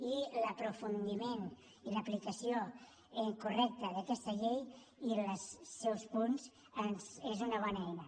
i l’aprofundiment i l’aplicació correcta d’aquesta llei i els seus punts són una bona eina